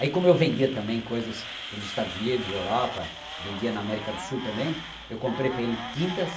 Aí como eu vendia também coisas para os Estados Unidos Europa, vendia na América do Sul também, eu comprei para ele tintas,